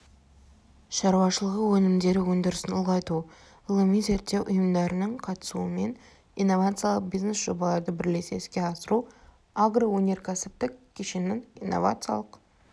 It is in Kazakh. шаруашылығы өнімдері өндірісін ұлғайту ғылыми-зерттеу ұйымдарының қатысуымен инновациялық бизнес-жобаларды бірлесе іске асыру агроөнеркәсіптік кешеннің инновациялық